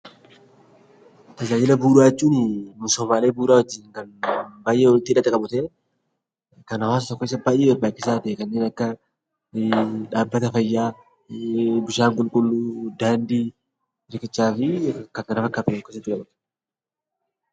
Tajaajila bu'uuraa jechuun misoomaawwan bu'uuraa wajjin baayyee walitti hidhata qabu ta'ee kan hawaasa tokkoof baayyee barbaachisaa ta'e, kanneen akka dhaabbata fayyaa, bishaan qulqulluu , daandii riqichaa kan kana fakkaatan of keessatti qabatudha.